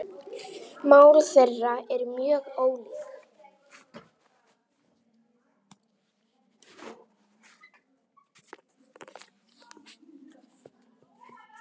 Mál þeirra eru mjög ólík.